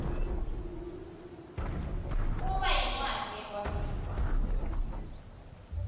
kuba yincwadzi yekwabiwa